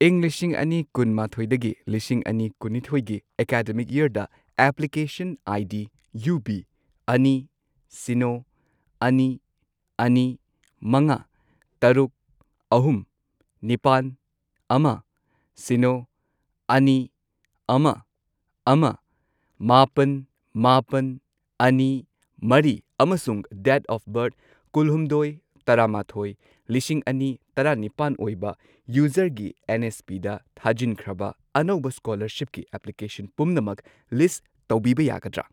ꯢꯪ ꯂꯤꯁꯤꯡ ꯑꯅꯤ ꯀꯨꯟꯃꯥꯊꯣꯢꯗꯒꯤ ꯂꯤꯁꯤꯡ ꯑꯅꯤ ꯀꯨꯟꯅꯤꯊꯣꯢꯒꯤ ꯑꯦꯀꯥꯗꯃꯤꯛ ꯌꯔꯗ, ꯑꯦꯄ꯭ꯂꯤꯀꯦꯁꯟ ꯑꯥꯏ.ꯗꯤ. ꯌꯨ ꯕꯤ ꯑꯅꯤ, ꯁꯤꯅꯣ, ꯑꯅꯤ, ꯑꯅꯤ, ꯃꯉꯥ, ꯇꯔꯨꯛ, ꯑꯍꯨꯝ, ꯃꯥꯄꯟ, ꯑꯃ, ꯁꯤꯅꯣ, ꯑꯅꯤ, ꯑꯃ, ꯑꯃ, ꯃꯥꯄꯜ, ꯃꯥꯄꯜ, ꯑꯅꯤ, ꯃꯔꯤ ꯑꯃꯁꯨꯡ ꯗꯦꯠ ꯑꯣꯐ ꯕꯔꯊ ꯀꯨꯜꯍꯨꯝꯗꯣꯢ ꯇꯔꯥꯃꯥꯊꯣꯢ ꯂꯤꯁꯤꯡ ꯑꯅꯤ ꯇꯔꯥ ꯅꯤꯄꯥꯟ ꯑꯣꯏꯕ ꯌꯨꯖꯔꯒꯤ ꯑꯦꯟ.ꯑꯦꯁ.ꯄꯤ.ꯗ ꯊꯥꯖꯤꯟꯈ꯭ꯔꯕ ꯑꯅꯧꯕ ꯁ꯭ꯀꯣꯂꯔꯁꯤꯞꯀꯤ ꯑꯦꯄ꯭ꯂꯤꯀꯦꯁꯟ ꯄꯨꯝꯅꯃꯛ ꯂꯤꯁꯠ ꯇꯧꯕꯤꯕ ꯌꯥꯒꯗ꯭ꯔꯥ?